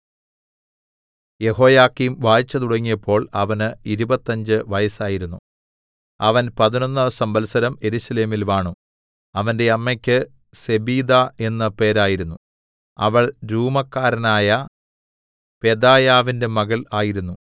യെഹോയാക്കീം വാഴ്ച തുടങ്ങിയപ്പോൾ അവന് ഇരുപത്തഞ്ച് വയസ്സായിരുന്നു അവൻ പതിനൊന്ന് സംവത്സരം യെരൂശലേമിൽ വാണു അവന്റെ അമ്മക്ക് സെബീദാ എന്ന് പേരായിരുന്നു അവൾ രൂമക്കാരനായ പെദായാവിന്റെ മകൾ ആയിരുന്നു